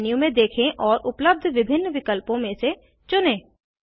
menu में देखें और उपलब्ध विभिन्न विकल्पों में से चुनें